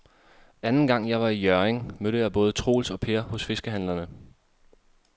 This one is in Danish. Anden gang jeg var i Hjørring, mødte jeg både Troels og Per hos fiskehandlerne.